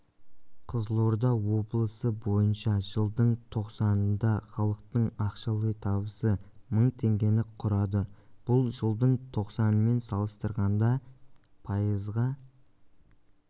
қызылорда облысы бойынша жылдың тоқсанында халықтың ақшалай табысы мың теңгені құрады бұл жылдың тоқсанымен салыстырғанда пайызға